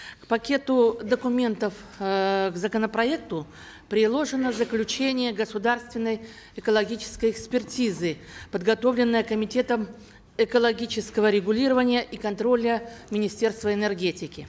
к пакету документов эээ к законопроекту приложено заключение государственной экологической экспертизы подготовленной комитетом экологического регулирования и контроля министерства энергетики